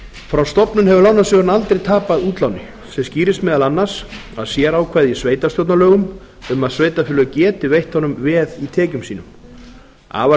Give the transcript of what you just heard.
frá stofnun hefur lánasjóðurinn aldrei tapað útláni sem skýrist meðal annars af sérákvæði í sveitarstjórnarlögum um að sveitarfélög geti veitt honum veð í tekjum sínum afar